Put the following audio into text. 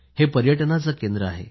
हे पर्यटनाचे केंद्र आहे